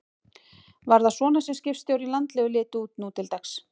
Var það svona sem skipstjórar í landlegu litu út nú til dags?